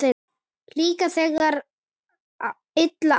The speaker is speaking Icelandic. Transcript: Líka þegar að illa árar?